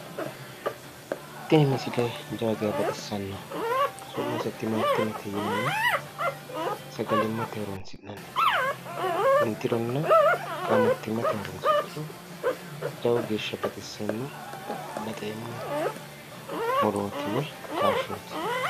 Tini misile jawa geya baxissanno. Su'mase timatimete yinanni sagalimmate horoonsi'nannite. Intironna qaamattimmate horoonsi'niro jawa geeshsha baxissanno baxeemmo murooti woyi kaashshooti.